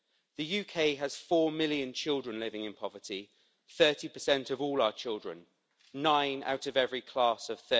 The UK has four million children living in poverty 30 of all our children, nine out of every class of